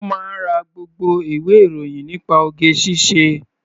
Ó máa ń ra gbogbo ìwé-ìròyìn nípa oge-ṣíṣe.